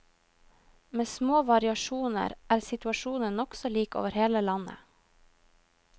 Med små variasjoner er situasjonen nokså lik over hele landet.